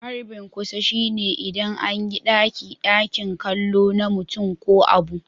Harbin kusa shine idan an yi ɗaki-dakin kallo na mutum ko abu.